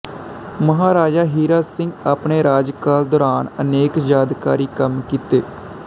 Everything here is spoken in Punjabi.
ਮਹਾਰਾਜਾ ਹੀਰਾ ਸਿੰਘ ਆਪਣੇ ਰਾਜਕਾਲ ਦੌਰਾਨ ਅਨੇਕ ਯਾਦਗਾਰੀ ਕੰਮ ਕੀਤੇ